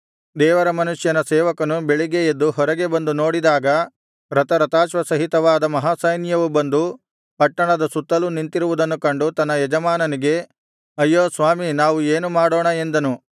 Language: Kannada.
ದೇವರ ಮನುಷ್ಯನ ಸೇವಕನು ಬೆಳಿಗ್ಗೆ ಎದ್ದು ಹೊರಗೆ ಬಂದು ನೋಡಿದಾಗ ರಥರಥಾಶ್ವಸಹಿತವಾದ ಮಹಾಸೈನ್ಯವು ಬಂದು ಪಟ್ಟಣದ ಸುತ್ತಲೂ ನಿಂತಿರುವುದನ್ನು ಕಂಡು ತನ್ನ ಯಜಮಾನನಿಗೆ ಅಯ್ಯೋ ಸ್ವಾಮಿ ನಾವು ಏನು ಮಾಡೋಣ ಎಂದನು